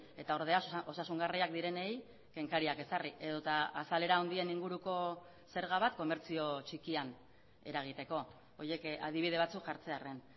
eta ordea osasungarriak direnei kenkariak ezarri edota azalera handien inguruko zerga bat komertzio txikian eragiteko horiek adibide batzuk jartzearren